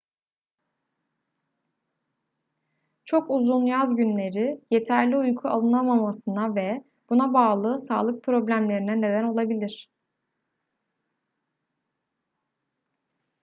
çok uzun yaz günleri yeterli uyku alınamamasına ve buna bağlı sağlık problemlerine neden olabilir